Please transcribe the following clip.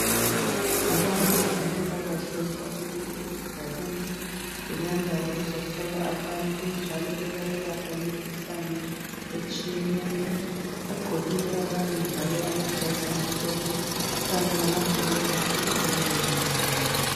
Abantu bezempilakahle babuyile esigabeni belanda ukuzohlola abantu njalo bebayelapha imikhuhlane etshiyeneyo. Bagqokile abanye njalo amajazi amhlophe kanye lamaglovisi ezandleni zabo.